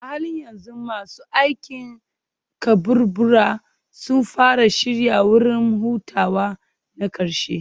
A halin yanzu masu aikin kaburbura sun fara shirya wurin hutawa na ƙarshe.